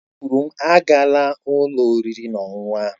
È kwụrụ m, aagala ụlọ oriri na ọṅụṅụ ahụ!